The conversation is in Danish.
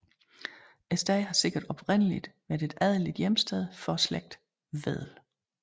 Stedet har sikkert oprindeligt været et adeligt hjemsted for slægten Wedel